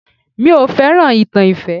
Mi ò fẹ́ràn ìtàn ìfẹ́